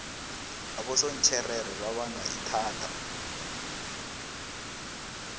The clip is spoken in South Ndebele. abosontjherere babanga ithada